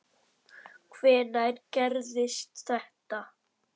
Hvenær gerðist þetta?